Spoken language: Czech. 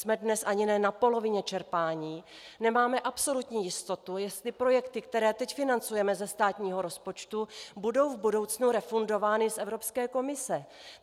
Jsme dnes ani ne na polovině čerpání, nemáme absolutní jistotu, jestli projekty, které teď financujeme ze státního rozpočtu, budou v budoucnu refundovány z Evropské komise.